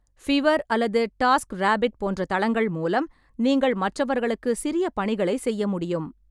பிவர் அல்லது டாஸ்க்ராபிட் போன்ற தளங்கள் மூலம், நீங்கள் மற்றவர்களுக்கு சிறிய பணிகளை செய்ய முடியும்.